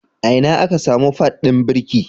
Ina aka samu pad ɗin birki?